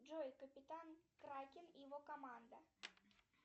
джой капитан кракен и его команда